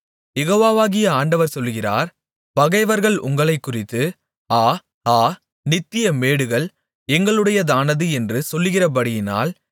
யெகோவாகிய ஆண்டவர் சொல்லுகிறார் பகைவர்கள் உங்களைக்குறித்து ஆ ஆ நித்திய மேடுகள் எங்களுடையதானது என்று சொல்லுகிறபடியினால்